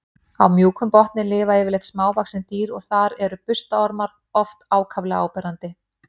Á mjúkum botni lifa yfirleitt smávaxin dýr og þar eru burstaormar oft ákaflega áberandi.